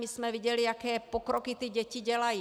My jsme viděli, jaké pokroky ty děti dělají.